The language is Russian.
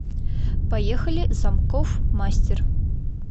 поехали замкофф мастер